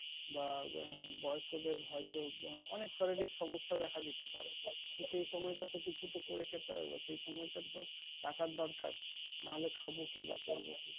বা বয়স্কদের হয়তো অনেক শারীরিক সমস্যা দেখা দিতে পারে। সেই সময়টা তো কিছু একটা করে খেতে হবে সেই সময়টা তো টাকার দরকার। না হলে খাবো কি বাসাই?